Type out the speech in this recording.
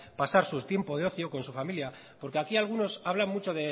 pasar su tiempo de ocio con su familia porque aquí muchos hablan mucho